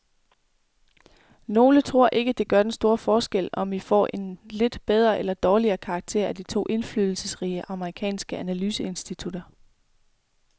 Nogle tror ikke, det gør den store forskel, om vi får en lidt bedre eller dårligere karakter af de to indflydelsesrige amerikanske analyseinstitutter.